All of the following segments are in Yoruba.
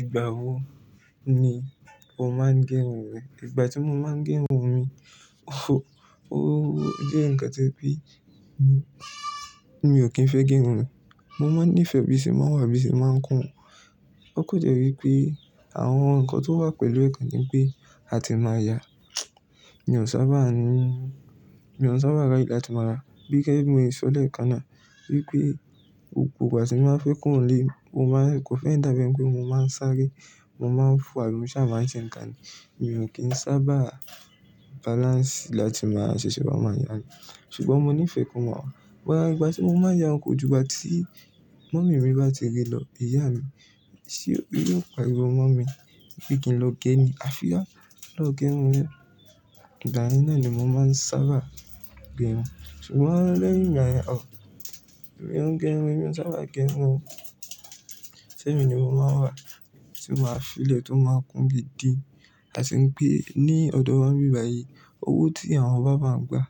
Ìgbà wo ni o máa ń gẹrun rẹ mi? Ìgbà tí mo máa ń gẹrun mi, ó, ó jẹ́ nǹkan ti o je wi pé mi, mi ò kí ń fẹ́ gẹrun mi. Mo máa ń nífẹ̀ẹ́ bí i o ṣe máa n wà bí o ṣe máa ń kún. Ó kòn jẹ́ wí pé àwọn nǹkan tó wà pẹ̀lú rẹ̀ kon ni pé a ti máa ya. Mi ò sábà ní, mi ò sábà ráyè láti máa, gẹ́gẹ́ bí mo ṣọ lẹ kànná wí pé gbogbo ìgbà ti ní máa fẹ́ kúrò ni ile, mo máa ń, kò n fẹ́ dàbí ẹ́ni pé mo máa ń sáré. Mo máa ń fò ailu, ṣáá máa ń ṣe ǹkan ni. Mi ò kí ń sábà balance láti máa ṣiṣẹ́ bá mama yà ni. Ṣùgbọ́n mo nífẹ̀ẹ́ ko ma wa but àwọn ìgbà tí mo máa ya o kò jù ìgbà tí mummy mi bá ti rí lọ, ìyá mi, tí yóò pariwo mọ́ mi wípé kí n lọ gé ní afira, lọ gẹrun. Ìgbà yẹn náà ni mo máa ń sábà gẹrun. Ṣùgbọ́n lẹ́yìn aa. Mi ó ń gẹrun, emi ò sábà gẹrun. Sẹ́mi ni mo máa wà tí máa f'ílẹ̀ tó máa kún gidi. A sì ń pé ní ọ̀dọ̀ wa n bibàyí owó tí àwọn bàbá ń gbà,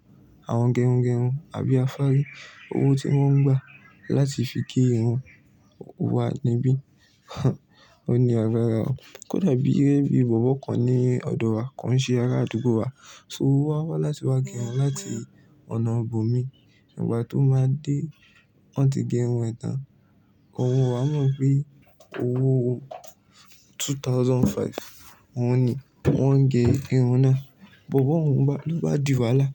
àwọn gẹrungẹrun àbí afári, owó tí wọ́n ń gbà láti fi gé irun wa níbí, ó ní agbára. Kò dàbí bí bobo kan ní ọ̀dọ̀ wa, kon ṣe ara àdúgbò wa. So owó wá wá láti wá gẹrun láti ọ̀nà ibòmí. Ìgbà tó máa dé, wọ́n ti gẹrun e tàn. Òun o wá mọ̀ pé owó two thousand five, òun ni wọ́n ń gẹ irun náà. Bobo òun bá, ló bá dì wàhálà.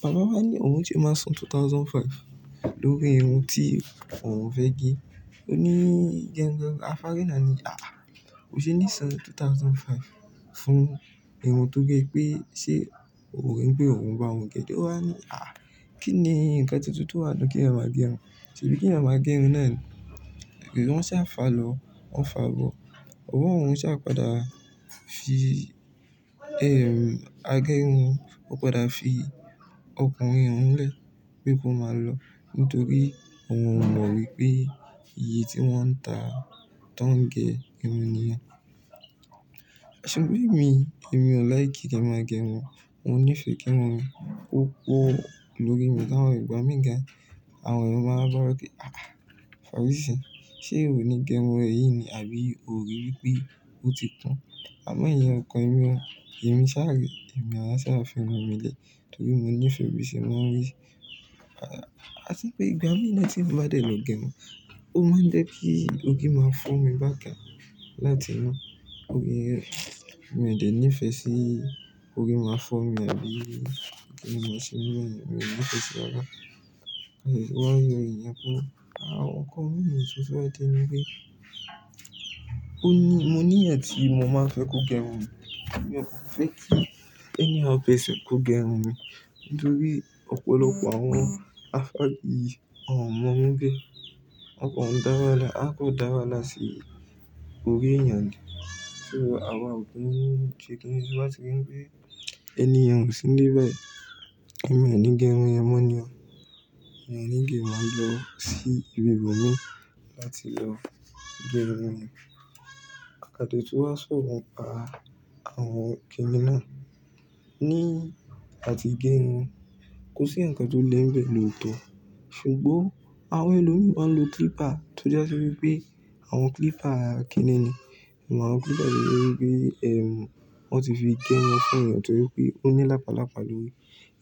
Bàbá wa ní òun se máa san two thousand and five lórí irun tí òun fẹ́ gẹ. Ó ní gẹrun afári náà ní, "Àh! O ṣe ní san two thousand and five fún irun tó gẹ pé ṣé o rí wípé òun bà, òun gẹ?" Ó wá ní, "Àh! Kí ni nǹkan tuntun tó wà nínú kí eyan máa gẹrun?" Ṣèbí kí a máa gẹrun náà ni pé wọ́n ṣá fa lọ, wọ́n fà bọ̀. Bobo òun ṣà padà fi, a gẹ irun. Ó padà fi ọkùnrin hun lẹ̀ pé kó máa lọ nítorí òun ò mọ̀ wípé iye tí wọ́n ń tà tán gẹ irun niyen. Ṣùgbọ́n èmi, èmi ò like kí máa gẹrun. Mo nífẹ̀ẹ́ kí irun mi ko poo lórí mi. Láwọn ìgbà mìí gan, àwọn èèyàn máa ń bá wa pé, "Àh! Fárísí, ṣé ò ni gẹrun rẹ yìí ni? Àbí o rí wípé ó ti kun?" A máa iyen ọkàn èmi o. Èmi sáré, èmi á sá firun mi lẹ́ torí mo nífẹ̀ẹ́ bí i ṣe máa ń rí. A ti pé ìgbà mìí na tí mo bá dẹ̀ lọ gẹrun, ó máa ń jẹ́ kí òri máa fọ́ mi bákan láti inú. Óri mi ò de ní ìfẹ́ sí òri máa fọ́ mi àbí kí n mọ̀ síbí. Èmi ò ní ìfẹ́ sí rara. Wọ́n á yọ èèyàn kúrò. Àwọn nkan mi ni títún bá ti ní pé ó ní, mo ní ẹ̀yan ti mi, mo máa fẹ́ kó gẹrun mi. Èmi ò fẹ́ kí anyhow person kó gẹrun mi nítorí ọ̀pọ̀lọpọ̀ àwọn afári yìí, wọ́n ò mọ̀ irun ge wọ́n kò dá wah a kò dá wàhálà si orí eyan ni. Ṣo àwa ò kí ń ṣe kíni? Ti n bati ri pé ènìyàn ò sí níbẹ̀ ẹ̀mí oní gẹrun yẹn mọ́ ni o. Ẹ̀mí oní gberun lọ sí ibi ibòmí láti lọ gẹrun mi. Ka ti e tun wa ṣòro pa àwọn kìnina ní áti gẹrun kò sí ǹkan tó le ń bẹ̀ lótọ̀. Ṣùgbọ́n àwọn ẹlòmí ma ń lo clipper tó ja sí wípé àwọn clipper kinní ní. O máa clipper to je wípé, wọ́n ti fi gé irun fún èèyàn tojepe ó ní lápalápa lórí.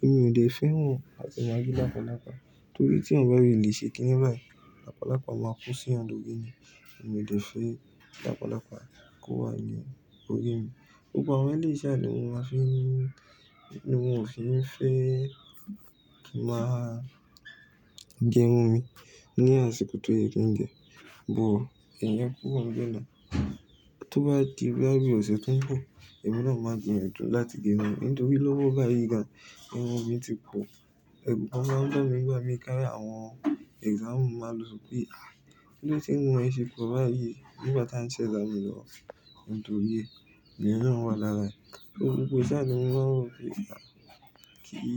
Èmi ò dè fẹ́ ran áti máa ri lápalápa torí tí eyan bá fí ilẹ̀ ṣe kínní báyìí, lápalápa máa ko sí yan lórí ni. Èmi ò dè fẹ́ lápalápa kó wá ni òri mi. Gbogbo àwọn iléyi sa ni mo máa fi ń, ni mon ò fi n fẹ́ máa gẹrun mi ní àsìkò tó yẹ kí n gẹ. But, iyen kúrò n bẹ́ẹ̀ náà. Tó bá di boya bi ọ̀sẹ̀ tó ń bọ̀, èmi náà máa gbìyànjú láti gẹrun mi nítorí lówó báyìí gan, irun mi ti pọ̀. Ẹ̀ru gan máa ń ba mi nígbà mí ki àwọn exam máa lọ pé, "kilo de ti irun se po bayi nígbà tí a ń ṣe exam lọ?" Nítorí ẹ́, iyen na wa lára rẹ̀. Gbogbo ṣẹ́ ni mo máa ń wo kí.